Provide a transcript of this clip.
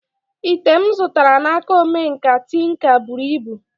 Ite m zụtara n'aka omenkà tinka buru ibu